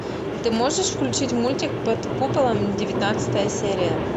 ты можешь включить мультик под куполом девятнадцатая серия